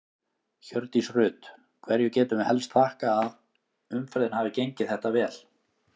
Hjördís Rut: Hverju getum við helst þakkað að umferðin hafi gengið þetta vel?